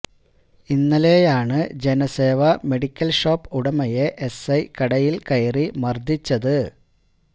ഇന്നലെയാണ് Janaseva medical shop ഉടമയെ SI കടയിൽ കയറി മർദ്ദിച്ചത്